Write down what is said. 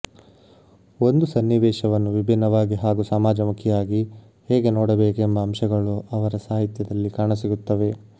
ಒಂದು ಸನ್ನಿವೇಶವನ್ನು ವಿಭಿನ್ನವಾಗಿ ಹಾಗೂ ಸಮಾಜಮುಖಿಯಾಗಿ ಹೇಗೆ ನೋಡಬೇಕೆಂಬ ಅಂಶಗಳು ಅವರ ಸಾಹಿತ್ಯದಲ್ಲಿ ಕಾಣಸಿಗುತ್ತವೆ